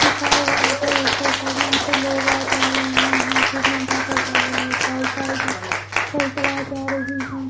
लिखा हुआ है ऊपर साइड में यहां पे लोग आ जा रहे हैं यहां पे मेला बैठा हुआ है बाइक साइकिल आ जा रही है।